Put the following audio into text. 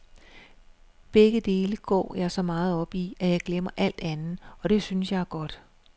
Begge dele går jeg så meget op i, at jeg glemmer alt andet, og det synes jeg er godt.